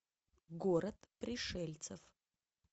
город пришельцев